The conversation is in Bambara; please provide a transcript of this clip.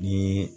Ni